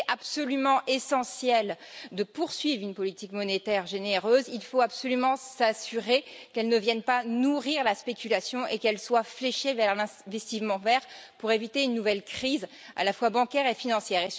S'il était absolument essentiel de poursuivre une politique monétaire généreuse, il faut absolument s'assurer qu'elle ne vienne pas nourrir la spéculation et qu'elle soit fléchée vers l'investissement vert pour éviter une nouvelle crise à la fois bancaire et financière.